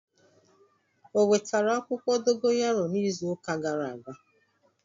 O wetara akwukwo dogayaro n'izu uka gara aga?